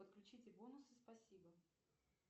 подключите бонусы спасибо